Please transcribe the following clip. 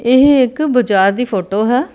ਇਹ ਇੱਕ ਬਾਜ਼ਾਰ ਦੀ ਫੋਟੋ ਹੈ।